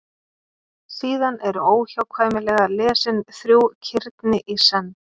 Síðan eru óhjákvæmilega lesin þrjú kirni í senn.